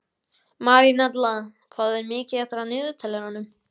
Marínella, hvað er mikið eftir af niðurteljaranum?